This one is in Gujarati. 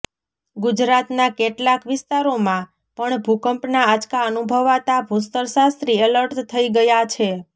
ગુજરાતના કેટલાંક વિસ્તારોમાં પણ ભૂકંપના આંચકા અનુભવાતા ભૂસ્તરશાસ્ત્રી એલર્ટ થઈ ગયાં છે